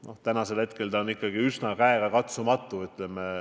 Noh, praegusel hetkel on see reaalses elus ikkagi üsna käegakatsumatu.